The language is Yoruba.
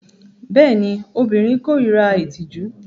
Bẹẹni, obirin korira itiju